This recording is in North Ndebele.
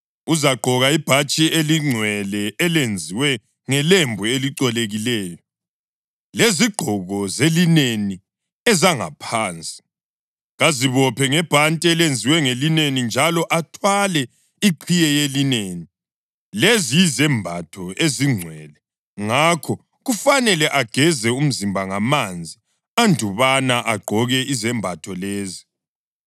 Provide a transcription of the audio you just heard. Uzagqoka ibhatshi elingcwele elenziwe ngelembu elicolekileyo, lezigqoko zelineni ezangaphansi; kazibophe ngebhanti elenziwe ngelineni njalo athwale iqhiye yelineni. Lezi yizembatho ezingcwele; ngakho kufanele ageze umzimba ngamanzi andubana agqoke izembatho lezi.